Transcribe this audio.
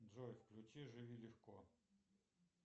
джой включи живи легко